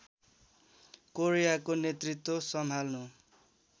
कोरियाको नेतृत्व सम्हाल्नु